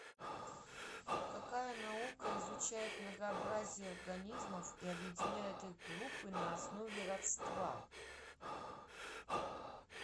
какая наука изучает многообразие организмов и объединяет их в группы на основе родства